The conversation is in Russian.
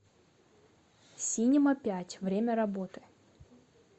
синема пять время работы